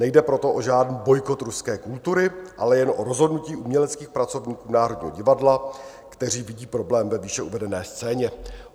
Nejde proto o žádný bojkot ruské kultury, ale jen o rozhodnutí uměleckých pracovníků Národního divadla, kteří vidí problém ve výše uvedené scéně.